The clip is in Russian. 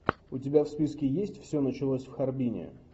у тебя в списке есть все началось в харбине